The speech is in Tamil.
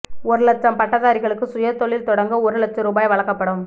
ஒரு லட்சம் பட்டதாரிகளுக்கு சுயதொழில் தொடங்க ஒரு லட்ச ரூபாய் வழங்கப்படும்